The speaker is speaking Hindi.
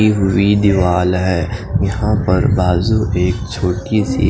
डी हुई दीवाल है यहा पर बाजु एक छोटी सी--